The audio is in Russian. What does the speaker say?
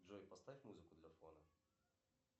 джой поставь музыку для фона